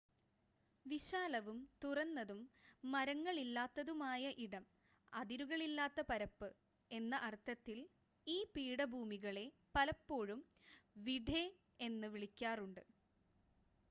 "വിശാലവും തുറന്നതും മരങ്ങളില്ലാത്തതുമായ ഇടം അതിരുകളില്ലാത്ത പരപ്പ് എന്ന അർത്ഥത്തിൽ ഈ പീഠഭൂമികളെ പലപ്പോഴും "വിഡ്ഡെ" എന്ന് വിളിക്കാറുണ്ട്.